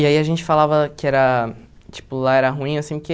E aí a gente falava que era, tipo, lá era ruim, assim, porque...